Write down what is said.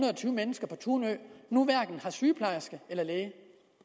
tyve mennesker på tunø nu hverken har sygeplejerske eller læge